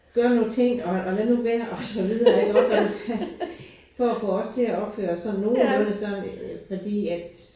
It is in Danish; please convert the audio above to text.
Gøre nogle ting og og lad nu være og så videre ikke også og altså for at få os til at opføre os sådan nogenlunde sådan fordi at